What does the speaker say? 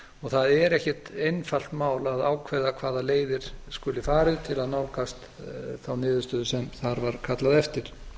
og það er ekkert einfalt mál að ákveða hvaða leiðir skuli farið til að nálgast þá niðurstöðu sem þar var kallað eftir